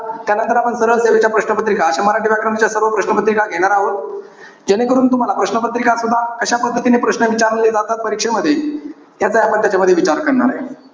त्यानंतर आपण सरळ सेवेच्या प्रश्न पत्रिका अश्या मराठी व्याकरणच्या सर्व प्रश्न पत्रिका घेणार आहोत. जेणेकरून तुम्हाला प्रश्नपत्रिका सुद्धा कशा पद्धतीने प्रश्न विचारले जातात परीक्षेमध्ये, त्याचा या पद्धतीमध्ये विचार करणार आहे.